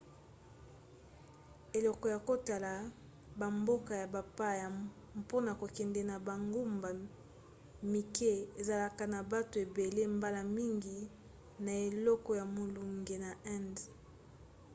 eleko ya kotala bamboka ya bapaya mpona kokende na bangumba mike ezalaka na bato ebele mbala mingi na eleko ya molunge na inde